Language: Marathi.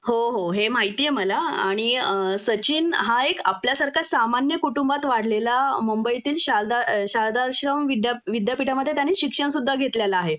हो हो हे माहितीये मला आणि सचिन हा एक आपल्यासारखा सामान्य कुटुंबात वाढलेला मुंबईतील शारदा शारदाश्रम विद्यापिठामध्ये त्याने शिक्षण सुद्धा घेतलेलं आहे